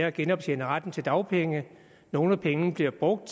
at genoptjene retten til dagpenge nogle af pengene bliver brugt